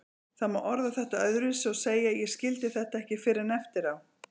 Það má orða þetta öðruvísi og segja: Ég skildi þetta ekki fyrr en eftir á.